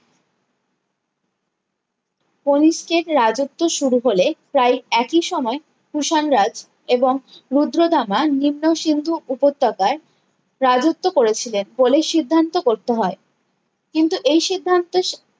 কণিষ্কের রাজ্যত্ব শুরু হলে প্রায়ই একই সময়ে কুষাণ রাজ এবং রুদ্রাদ্রামা নিকা সিন্ধু উপত্যকায় রাজ্যত্ব করেছিলেন বলে সিদ্ধান্ত করতে হয় কিন্তু এই সিদ্ধান্তে